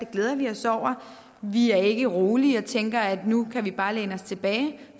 glæder vi os over vi er ikke rolige og tænker at nu kan vi bare læne os tilbage